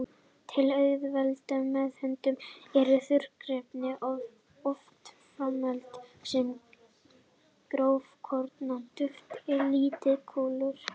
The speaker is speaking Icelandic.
Til að auðvelda meðhöndlun eru þurrkefnin oft framleidd sem grófkorna duft eða litlar kúlur.